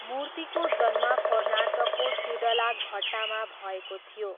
मूर्तिको जन्म कर्नाटकको सिडलाघट्टामा भएको थियो।